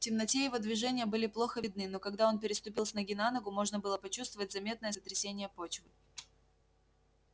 в темноте его движения были плохо видны но когда он переступил с ноги на ногу можно было почувствовать заметное сотрясение почвы